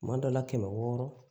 Tuma dɔ la kɛmɛ wɔɔrɔ